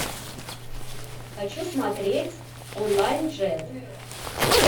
хочу смотреть онлайн джет